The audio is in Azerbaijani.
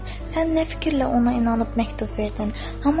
Sən nə fikirlə ona inanıb məktub verdin?